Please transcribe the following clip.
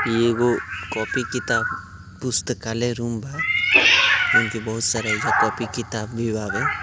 ये एगो कॉपी किताब पुस्तकालय रूम बा। जॉन की बहुत सारा येजवा कॉपी किताब भी बावे।